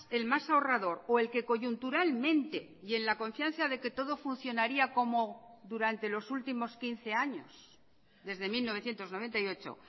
el más ahorrador o el que coyunturalmente y en la confianza de que todo funcionaría como durante los últimos quince años desde mil novecientos noventa y ocho